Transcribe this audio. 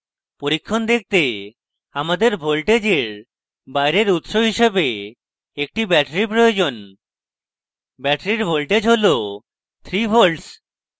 পরীক্ষণ দেখতে আমাদের voltage বাইরের উৎস হিসেবে একটি battery প্রয়োজন ব্যাটারির voltage হল 3v